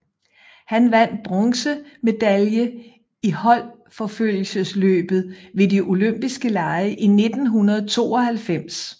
Han vandt bronze medalje i holdforfølgelsesløbet ved De olympiske lege i 1992